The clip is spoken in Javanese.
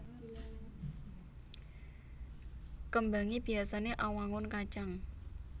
Kembangé biyasané awangun kacang